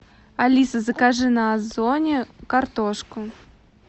алиса закажи на озоне картошку